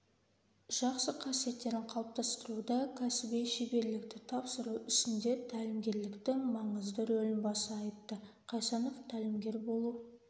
жақсы қасиеттерін қалыптастыруда кәсіби шеберлікті тапсыру ісінде тәлімгерліктің маңызды рөлін баса айтты қайсанов тәлімгер болу